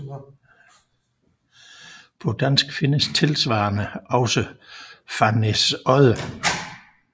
På dansk findes tilsvarende også Farnæsodde